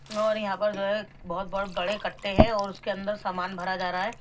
और यहां पर जो है बहोत बहोत बड़े कट्टे हैं और उसके अंदर सामान भरा जा रहा है।